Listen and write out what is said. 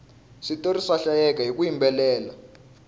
switori swa hlayeka hiku yimbelela